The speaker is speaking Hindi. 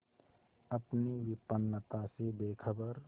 अपनी विपन्नता से बेखबर